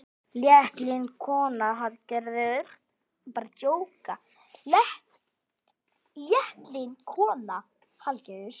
Léttlynd kona, Hallgerður.